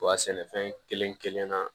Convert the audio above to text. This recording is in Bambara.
U ka sɛnɛfɛn kelen kelenna